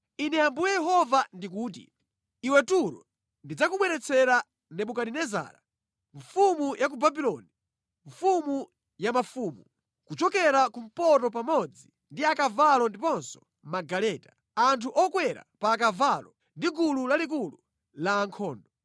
“Ine Ambuye Yehova ndikuti: Iwe Turo, ndidzakubweretsera Nebukadinezara, mfumu ya ku Babuloni mfumu ya mafumu, kuchokera kumpoto pamodzi ndi akavalo ndiponso magaleta, anthu okwera pa akavalo ndi gulu lalikulu la ankhondo.